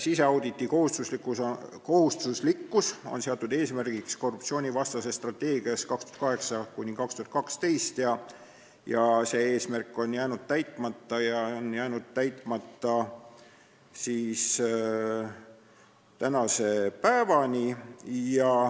Siseauditi kohustuslikkus on seatud eesmärgiks "Korruptsioonivastases strateegias 2008–2012" ja see eesmärk on jäänud täitmata tänase päevani.